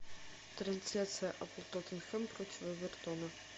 трансляция апл тоттенхэм против эвертона